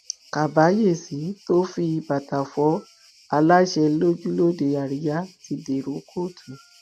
kábàyèsí tó fi bàtà fọ aláṣẹ lójú lóde àríyá ti dèrò kóòtù